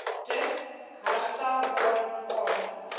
druk onherstelbare skade